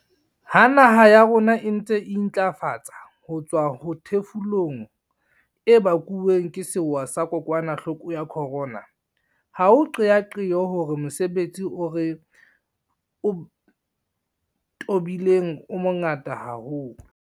Ha naha ya rona e ntse e intlafatsa ho tswa ho thefulong e bakuweng ke sewa sa kokwanahloko ya corona, ha o qeaqeo hore mosebetsi o re o tobileng o mongata haholo.